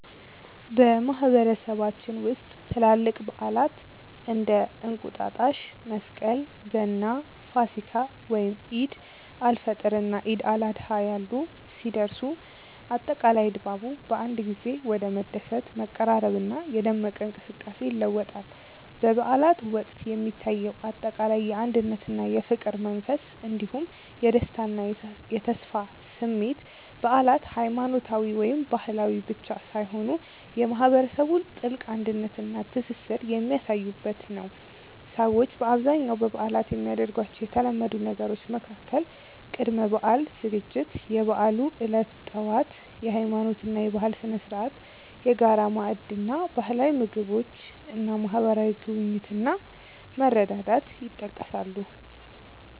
በማህበረሰባችን ውስጥ ትላልቅ በዓላት (እንደ እንቁጣጣሽ፣ መስቀል፣ ገና፣ ፋሲካ፣ ወይም ዒድ አል-ፈጥር እና ዒድ አል-አድሃ ያሉ) ሲደርሱ፣ አጠቃላይ ድባቡ በአንድ ጊዜ ወደ መደሰት፣ መቀራረብና የደመቀ እንቅስቃሴ ይለወጣል። በበዓላት ወቅት የሚታየው አጠቃላይ የአንድነትና የፍቅር መንፈስ እንዲሁም የደስታና የተስፋ ስሜት በዓላት ሃይማኖታዊ ወይም ባህላዊ ብቻ ሳይሆኑ የማህበረሰቡን ጥልቅ አንድነትና ትስስር የሚያሳዩበት ነው። ሰዎች በአብዛኛው በበዓላት የሚያደርጓቸው የተለመዱ ነገሮች መካከል ቅድመ-በዓል ዝግጅት፣ የበዓሉ ዕለት ጠዋት (የሃይማኖትና የባህል ስነ-ስርዓት)፣የጋራ ማዕድ እና ባህላዊ ምግቦች እና ማህበራዊ ጉብኝት እና መረዳዳት ይጠቀሳሉ።